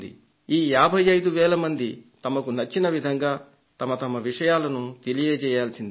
ఈ 55 వేల మంది వారికి నచ్చిన విధంగా తమ తమ విషయాలను తెలియజేయాల్సింది